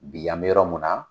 Bi an bɛ yɔrɔ mun na